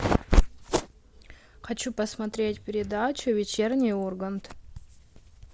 хочу посмотреть передачу вечерний ургант